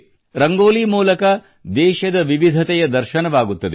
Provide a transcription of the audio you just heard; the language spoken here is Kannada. ರಂಗೋಲಿ ಮೂಲಕ ದೇಶದ ವಿವಿಧತೆಯ ದರ್ಶನವಾಗುತ್ತದೆ